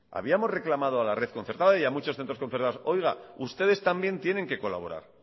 habíamos reclamado a la red concertada y a muchos centros concertados oiga ustedes también tienen que colaborar